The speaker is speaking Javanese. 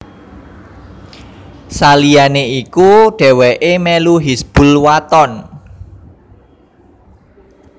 Saliyané iku dhéwéké melu Hizbul Wathan